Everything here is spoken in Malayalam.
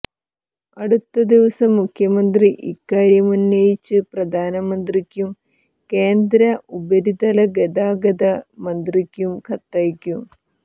അടുത്ത ദിവസം മുഖ്യമന്ത്രി ഇക്കാര്യമുന്നയിച്ച് പ്രധാനമന്ത്രിക്കും കേന്ദ്ര ഉപരിതലഗതാഗത മന്ത്രിക്കും കത്തയക്കും